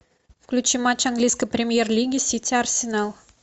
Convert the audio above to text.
включи матч английской премьер лиги сити арсенал